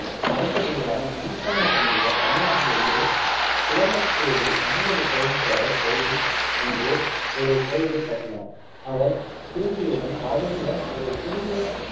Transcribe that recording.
அரச குருவான ஈசான பண்டிதர், தமிழ்நாட்டில் உள்ளே குளம்பத்தேலில் கங்கைகொண்ட சோழீஸ்வரர் கோயிலில் என்று ஒரு கோயிலைக் கட்டினார். அவர் திரும்பியவுடன், ராஜேந்திரன் ஒரு புதிய